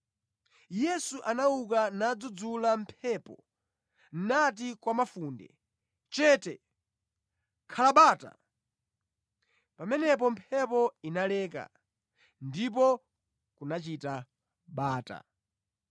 Yesu anauka nadzudzula mphepo nati kwa mafunde, “Chete! Khala bata!” Pamenepo mphepo inaleka ndipo kunachita bata.